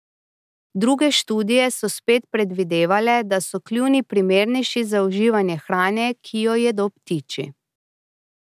Druge študije so spet predvidevale, da so kljuni primernejši za uživanje hrane, ki jo jedo ptiči.